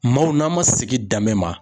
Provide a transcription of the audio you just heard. Maaw n'an ma sigi danbe ma